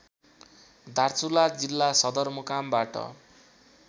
दार्चुला जिल्ला सदरमुकामबाट